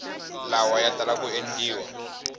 lawa ya tala ku endliwa